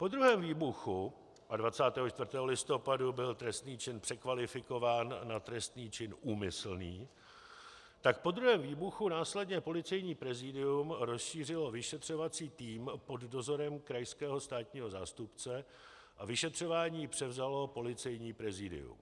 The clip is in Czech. Po druhém výbuchu - a 24. listopadu byl trestný čin překvalifikován na trestný čin úmyslný - tak po druhém výbuchu následně Policejní prezidium rozšířilo vyšetřovací tým pod dozorem krajského státního zástupce a vyšetřování převzalo Policejní prezidium.